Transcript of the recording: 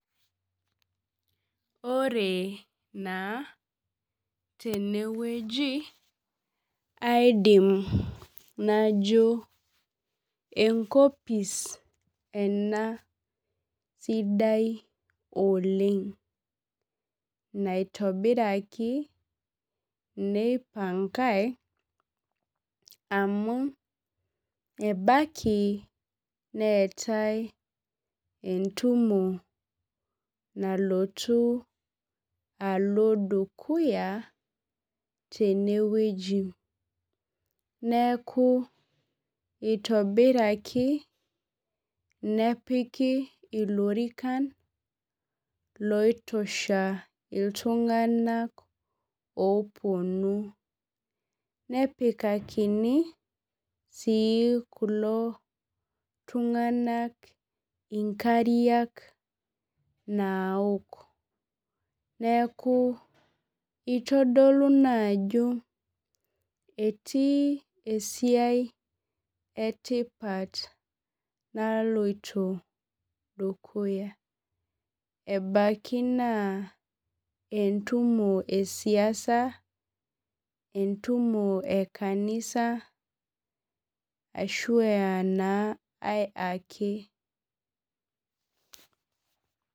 Ore na tenewueji aidim najo enkopis ena sidai oleng naitobiraki neipankai amu enaki neetae entumo nalotu alo dukuiitenewueji neaku itobiraki nepiki lorikan loitosha ltunganak oponu nepikamini si kulo tunganak inkariak naaok neakubitodolu ajo etii esiai etipat naloito dukuya ebaki na entumo esiasa, entumo e kanisa ashu aa kai ake.